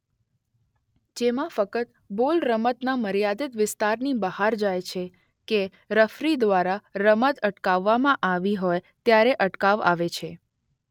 જેમાં ફક્ત બોલ રમતના મર્યાદિત વિસ્તારની બહાર જાય છે કે રેફરિ દ્વારા રમત અટકાવવામાં આવી હોય ત્યારે અટકાવ આવે છે.